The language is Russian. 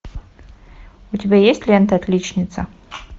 у тебя есть лента отличница